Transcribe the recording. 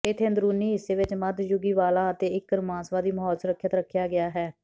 ਇੱਥੇ ਅੰਦਰੂਨੀ ਹਿੱਸੇ ਵਿੱਚ ਮੱਧਯੁਗੀ ਵਾਲਾਂ ਅਤੇ ਇਕ ਰੋਮਾਂਸਵਾਦੀ ਮਾਹੌਲ ਸੁਰੱਖਿਅਤ ਰੱਖਿਆ ਗਿਆ ਹੈ